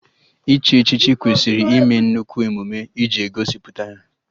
Iche echichi kwesịrị ịme nnukwu emume iji gosipụta ya